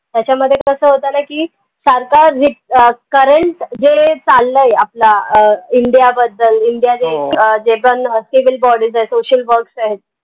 त्याच्यामध्ये कस होत न की अह current जे चाललंय आपला अं india बद्दल india अह जे पन civilbodys आहेत social body आहेत.